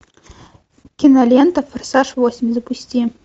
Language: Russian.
кинолента форсаж восемь запусти